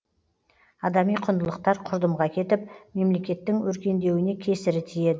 адами құндылықтар құрдымға кетіп мемлекеттің өркендеуіне кесірі тиеді